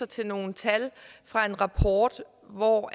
til nogle tal fra en rapport hvor